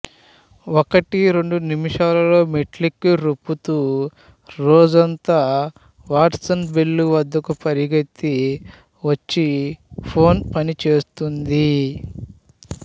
ఒకటి రెండు నిముషాల్లో మెట్లెక్కి రొప్పుతూ రోజుతూ వాట్సన్ బెల్ వద్దకు పరుగెత్తి వచ్చి ఫోన్ పనిచేస్తుంది